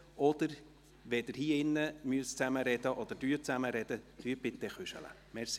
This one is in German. Wenn Sie hier im Saal zusammen sprechen oder zusammen sprechen müssen, bitte ich Sie, zu flüstern.